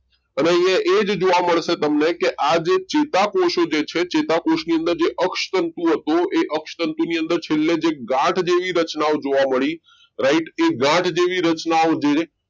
અને અહીં એ જ જોવા મળશે તમને કે આજે ચેતાકોષો જે છે ચેતાકોષની અંદર જે અક્ષ તંતુ હતું એ અક્ષર તંતુ ની અંદર છેલ્લે છે ગાંઠ જેવી રચનાઓ જોવા મળી right કે ગાંઠ જેવી રચનાઓ ધીરે ધીરે